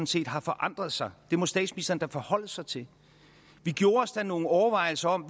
set har forandret sig det må statsministeren da forholde sig til vi gjorde os da nogle overvejelser om